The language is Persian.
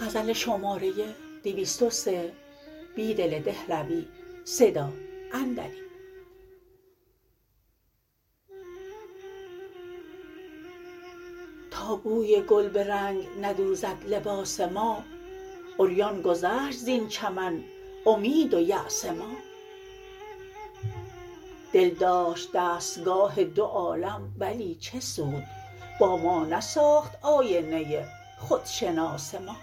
تا بوی گل به رنگ ندوزد لباس ما عریان گذشت زین چمن امید ویاس ما دل داشت دستگاه دو عالم ولی چه سود با ما نساخت آینه خودشناس ما